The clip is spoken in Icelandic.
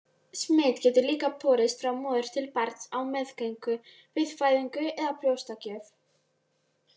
Smit getur líka borist frá móður til barns á meðgöngu, við fæðingu eða brjóstagjöf.